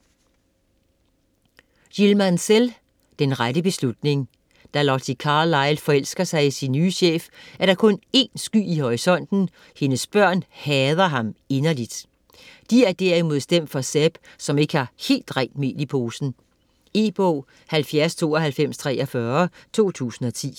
Mansell, Jill: Den rette beslutning Da Lottie Carlyle forelsker sig i sin nye chef, er der kun én sky i horisonten: hendes børn hader ham inderligt. De er derimod stemt for Seb, som ikke har helt rent mel i posen. E-bog 709243 2010.